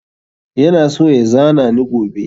Ya na so ya zana ni gobe